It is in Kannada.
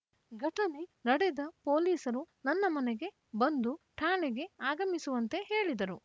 ಘಟನೆ ನಡೆದ ಪೊಲೀಸರು ನನ್ನ ಮನೆಗೆ ಬಂದು ಠಾಣೆಗೆ ಆಗಮಿಸುವಂತೆ ಹೇಳಿದರು